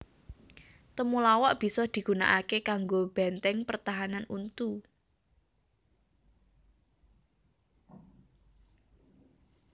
Temulawak bisa digunakaké kanggo bèntèng pertahanan untu